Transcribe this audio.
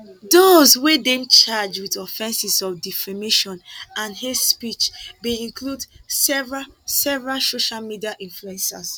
dose wey dem charge wit offenses of defamation and hate speech bin include several several social media influencers